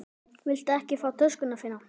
Viltu ekki fá töskuna þína?